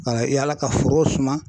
Ka yaala ka forow suma.